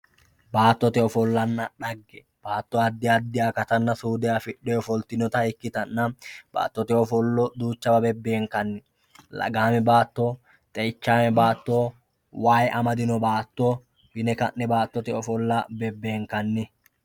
baattote ofollanna xagge baatto addi addi akatanna suude afixxe ofoltinota ikkitanna baattot ofollo duuchawa beenkanni lagaame baatto, xe'ichaame baatto, way amadino baatto yine ka'ne baattote ofollo bebeenkanni.